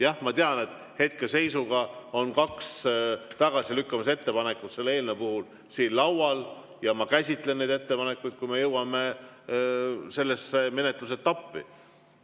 Jah, ma tean, et hetkeseisuga on kaks tagasilükkamise ettepanekut selle eelnõu kohta siin laual, ja ma käsitlen neid ettepanekuid, kui me jõuame sellesse menetluse etappi.